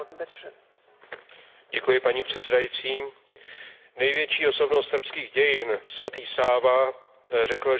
Největší osobnost srbských dějin svatý Sáva řekl, že Srbové jsou jak lidé Východu, tak lidé Západu.